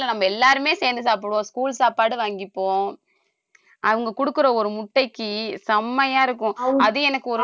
இல்ல நம்ம எல்லாருமே சேர்ந்து சாப்பிடுவோம் school சாப்பாடு வாங்கிப்போம் அவங்க குடுக்குற ஒரு முட்டைக்கு செம்மையா இருக்கும் அது எனக்கு ஒரு